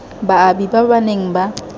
baabi ba ba neng ba